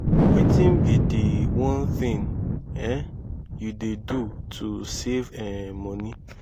wetin be di one thing um you dey do to save um money?